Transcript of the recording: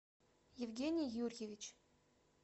евгений юрьевич